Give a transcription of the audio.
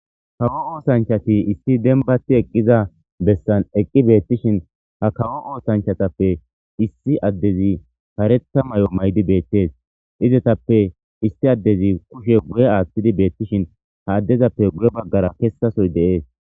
Kawo oosanchati issi dembati eqqiza bessan eqqi beettishin ha kawo oosanchatappe issi addezi paretha may'o maydi beettees izetappe isti addezi kushe guye aaththidi beettishin ha addezappe guye baggara kessasoy de'ees.